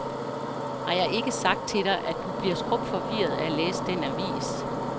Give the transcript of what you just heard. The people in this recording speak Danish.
Har jeg ikke sagt til dig, at du bliver skrupforvirret af at læse den avis.